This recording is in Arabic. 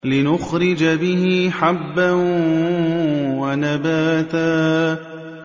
لِّنُخْرِجَ بِهِ حَبًّا وَنَبَاتًا